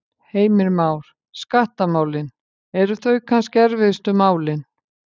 Heimir Már: Skattamálin, eru þau kannski erfiðustu málin?